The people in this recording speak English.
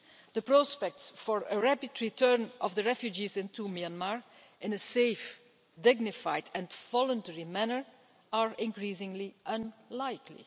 The prospects for a rapid return of the refugees into Myanmar, in a safe, dignified and voluntary manner, are increasingly unlikely.